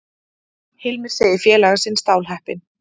Hilmir segir félaga sinn stálheppinn